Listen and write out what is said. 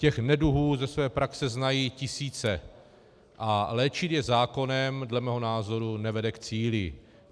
Těch neduhů ze své praxe znají tisíce a léčit je zákonem dle mého názoru nevede k cíli.